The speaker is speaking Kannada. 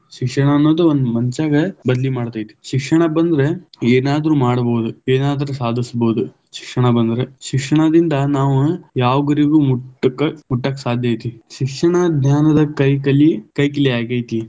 ಶಿಕ್ಷ~ ಶಿಕ್ಷಣ ಅನೋದು ಒಂದ ಮನಷ್ಯಾಗ ಬದಲಿ ಮಾಡತೈತಿ, ಶಿಕ್ಷಣ ಬಂದ್ರ ಏನಾದ್ರೂ ಮಾಡ್ಬಹುದು ಏನಾದ್ರೂ ಸಾದಿಸಬೋದು ಶಿಕ್ಷಣ ಬಂದ್ರ, ಶಿಕ್ಷಣದಿಂದ ನಾವು ಯಾವ ಗುರಿಗೂ ಮುಟ್ಟಕ್~ ಮುಟ್ಟಾಕ ಸಾಧ್ಯ ಐತಿ, ಶಿಕ್ಷಣ ಜ್ಞಾನದ ಕೈ ಕಲಿ ಕೈ ಕಿಲಿ ಆಗೈತಿ.